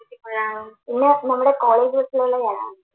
ഇന്ന് നമ്മടെ കോളേജ് ബസ്സുകളിൽ കാണാം